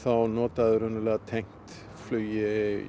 notaður tengt flugi